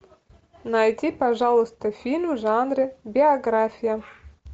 найди пожалуйста фильм в жанре биография